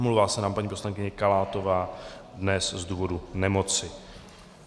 Omlouvá se nám paní poslankyně Kalátová dnes z důvodu nemoci.